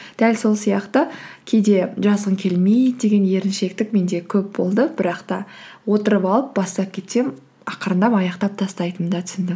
дәл сол сияқты кейде жазғың келмейді деген еріншектік менде көп болды бірақ та отырып алып бастап кетсем ақырындап аяқтап тастайтынымды түсіндім